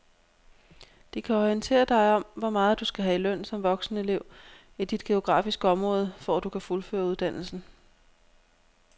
De kan orientere dig om hvor meget du skal have i løn som voksenelev i dit geografiske område, for at du kan fuldføre uddannelsen.